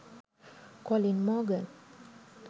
colin morgan